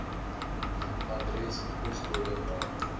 adres poskode naam